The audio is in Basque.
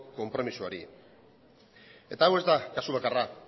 konpromisoari eta hau ez da kasu bakarra